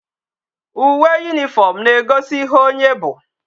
Uwe uniform na ego ihe onye bu